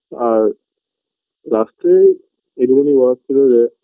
আর last -এ এদিক ওদিক